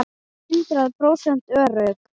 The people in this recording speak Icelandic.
Hundrað prósent örugg!